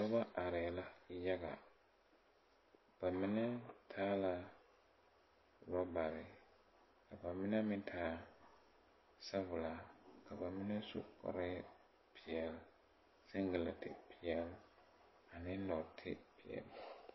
Nobɔ areɛɛ la yaga ba mine taa la rɔbarre ka ba mine meŋ taa sabɔllɔ ka ba mine su kpareɛɛ seŋgelɛnte peɛɛl ne nɔɔte peɛɛle.